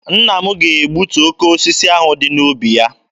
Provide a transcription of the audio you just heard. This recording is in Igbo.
Nna m ga-egbutu oke osisi ahụ dị n'ubi ya.